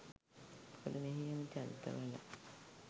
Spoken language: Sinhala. මොකද මෙහි එන චරිත වල